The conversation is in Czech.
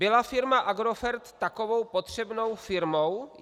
Byla firma Agrofert takovou potřebnou firmou?